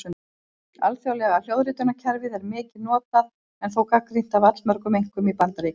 Alþjóðlega hljóðritunarkerfið er mikið notað en þó gagnrýnt af allmörgum einkum í Bandaríkjunum.